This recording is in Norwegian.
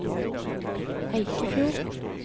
Eikefjord